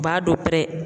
U b'a dɔ pɛrɛn